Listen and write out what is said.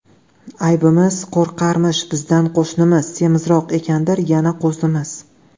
Aybimiz – qo‘rqarmish bizdan qo‘shnimiz, Semizroq ekandir yana qo‘zimiz.